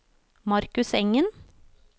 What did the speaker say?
Markus Engen